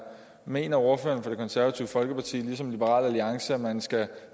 mener ordføreren for det konservative folkeparti ligesom liberal alliance at man skal